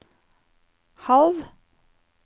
halv